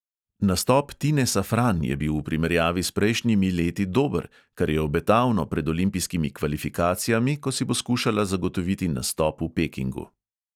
Nastop tine safran je bil v primerjavi s prejšnjimi leti dober, kar je obetavno pred olimpijskimi kvalifikacijami, ko si bo skušala zagotoviti nastop v pekingu.